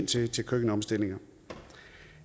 til køkkenomstillinger